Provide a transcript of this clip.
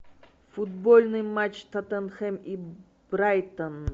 футбольный матч тоттенхэм и брайтон